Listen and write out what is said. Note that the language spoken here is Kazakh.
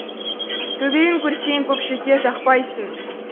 төбелін көрсетсең көпшілікке жақпайсың